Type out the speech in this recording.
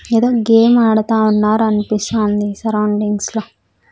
ఏదో గేమ్ ఆడతా ఉన్నారు అనిపిస్తాంది సరౌండింగ్స్ లో.